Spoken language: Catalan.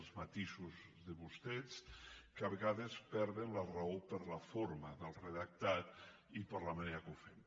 els matisos de vostès que a vegades perden la raó per la forma del redactat i per la manera que ho fem